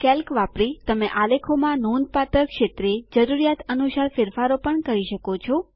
Calc વાપરી તમે આલેખોમાં નોંધપાત્ર ક્ષેત્રે જરૂરિયાત અનુસાર ફેરફાર પણ કરી શકો છો